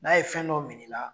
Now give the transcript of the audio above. N'a ye fɛn dɔ minɛ i la